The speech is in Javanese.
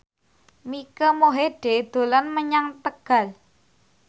Mike Mohede dolan menyang Tegal